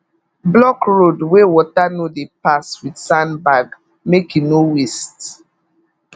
block road wey water no dey pass with sandbag make e no waste